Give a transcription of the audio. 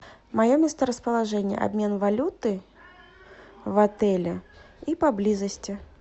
мое месторасположение обмен валюты в отеле и поблизости